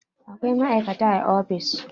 Akwai ma'aikata a ofis.